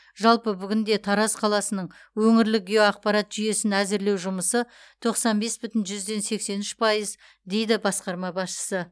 жалпы бүгінде тараз қаласының өңірлік геоақпарат жүйесін әзірлеу жұмысы тоқсан бес бүтін жүзден сексен үш пайыз дейді басқарма басшысы